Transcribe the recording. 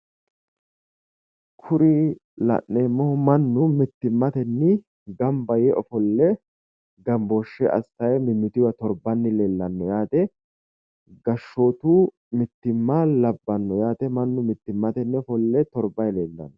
Kuri la'neemohu Manu mitimmatenni gamba yee ofolle gambooshe assayi mimitunniwa torbayi leellano yaate gashootu motimma labbano yaate Manu mitimmate ofolle torbayi leellano.